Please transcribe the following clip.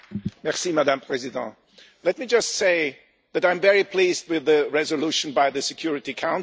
Madam President, let me just say that I am very pleased with the resolution by the Security Council.